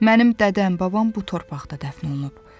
Mənim dədəm, babam bu torpaqda dəfn olunub.